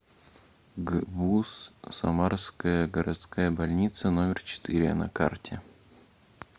гбуз самарская городская больница номер четыре на карте